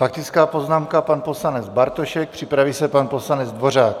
Faktická poznámka pan poslanec Bartošek, připraví se pan poslanec Dvořák.